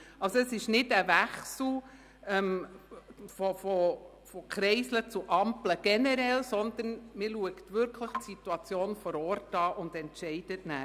Es ist also kein Wechsel von Kreiseln zu Ampeln generell, sondern man beurteilt die Situation vor Ort und entscheidet anschliessend.